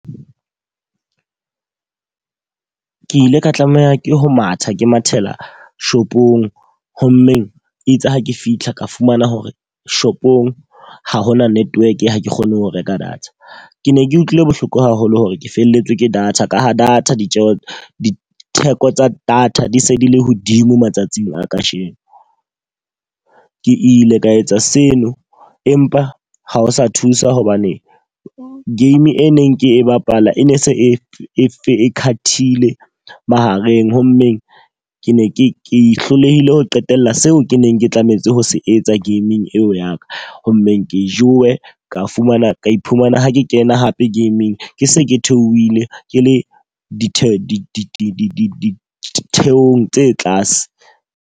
Ke ile ka tlameha ke ho matha ke mathela shopong, ho mmeng itse ha ke fihla ka fumana hore shopong ha hona network ha ke kgone ho reka data. Ke ne ke utlwile bohloko haholo hore ke felletswe ke data, ka ho data ditjeho di theko tsa data di se di le hodimo matsatsing a ka sheno. Ke ile ka etsa seno empa ha o sa thusa hobane game e neng ke e bapala e ne se e cut-ile mahareng. Ho mmeng ke ne ke hlolehile ho qetella seo ke neng ke tlametse ho se etsa gaming eo ya ka. Ho mmeng ke jowe ka fumana ka iphumana ha ke kena hape game-ing ke se ke theohile ke le ditheko di thekong tse tlase.